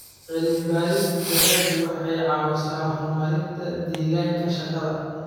Cilmi-baarista dalaggu waxay caawisaa horumarinta deegaanka shaqada.